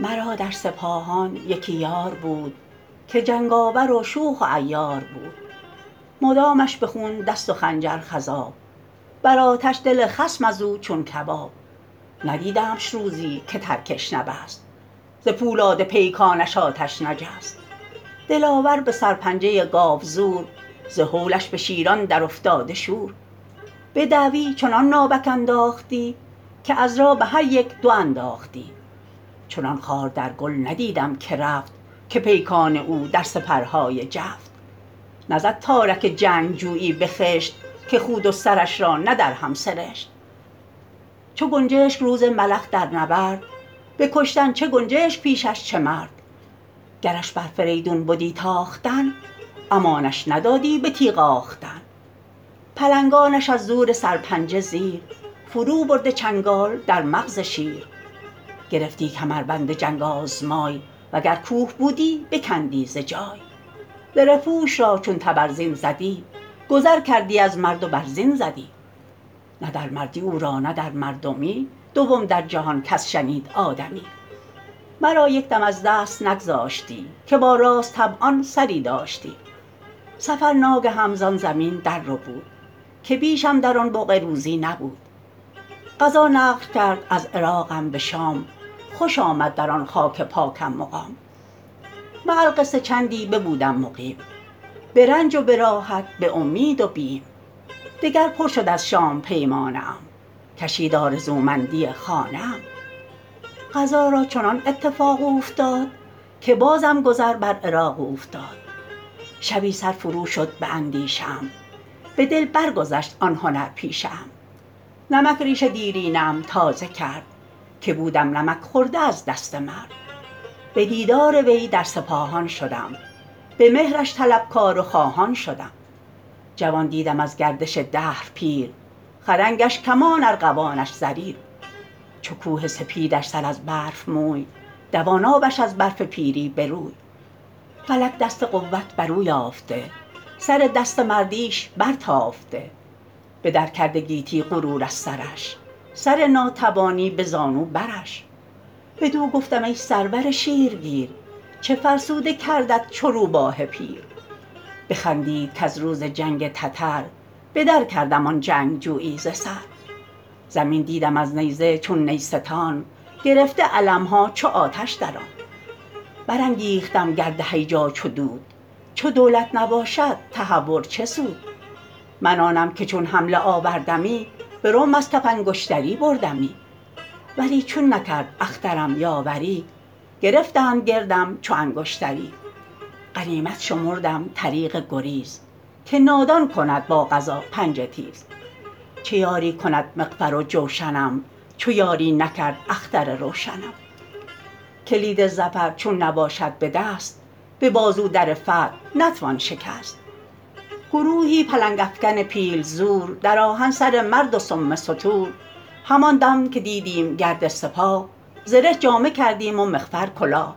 مرا در سپاهان یکی یار بود که جنگاور و شوخ و عیار بود مدامش به خون دست و خنجر خضاب بر آتش دل خصم از او چون کباب ندیدمش روزی که ترکش نبست ز پولاد پیکانش آتش نجست دلاور به سرپنجه گاوزور ز هولش به شیران در افتاده شور به دعوی چنان ناوک انداختی که عذرا به هر یک یک انداختی چنان خار در گل ندیدم که رفت که پیکان او در سپرهای جفت نزد تارک جنگجویی به خشت که خود و سرش را نه در هم سرشت چو گنجشک روز ملخ در نبرد به کشتن چه گنجشک پیشش چه مرد گرش بر فریدون بدی تاختن امانش ندادی به تیغ آختن پلنگانش از زور سرپنجه زیر فرو برده چنگال در مغز شیر گرفتی کمربند جنگ آزمای وگر کوه بودی بکندی ز جای زره پوش را چون تبرزین زدی گذر کردی از مرد و بر زین زدی نه در مردی او را نه در مردمی دوم در جهان کس شنید آدمی مرا یک دم از دست نگذاشتی که با راست طبعان سری داشتی سفر ناگهم زان زمین در ربود که بیشم در آن بقعه روزی نبود قضا نقل کرد از عراقم به شام خوش آمد در آن خاک پاکم مقام مع القصه چندی ببودم مقیم به رنج و به راحت به امید و بیم دگر پر شد از شام پیمانه ام کشید آرزومندی خانه ام قضا را چنان اتفاق اوفتاد که بازم گذر بر عراق اوفتاد شبی سر فرو شد به اندیشه ام به دل برگذشت آن هنر پیشه ام نمک ریش دیرینه ام تازه کرد که بودم نمک خورده از دست مرد به دیدار وی در سپاهان شدم به مهرش طلبکار و خواهان شدم جوان دیدم از گردش دهر پیر خدنگش کمان ارغوانش زریر چو کوه سپیدش سر از برف موی دوان آبش از برف پیری به روی فلک دست قوت بر او یافته سر دست مردیش بر تافته به در کرده گیتی غرور از سرش سر ناتوانی به زانو برش بدو گفتم ای سرور شیر گیر چه فرسوده کردت چو روباه پیر بخندید کز روز جنگ تتر بدر کردم آن جنگجویی ز سر زمین دیدم از نیزه چو نیستان گرفته علم ها چو آتش در آن بر انگیختم گرد هیجا چو دود چو دولت نباشد تهور چه سود من آنم که چون حمله آوردمی به رمح از کف انگشتری بردمی ولی چون نکرد اخترم یاوری گرفتند گردم چو انگشتری غنیمت شمردم طریق گریز که نادان کند با قضا پنجه تیز چه یاری کند مغفر و جوشنم چو یاری نکرد اختر روشنم کلید ظفر چون نباشد به دست به بازو در فتح نتوان شکست گروهی پلنگ افکن پیل زور در آهن سر مرد و سم ستور همان دم که دیدیم گرد سپاه زره جامه کردیم و مغفر کلاه